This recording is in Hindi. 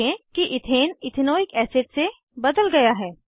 देखें कि इथेन इथेनॉइक एसिड से बदल गया है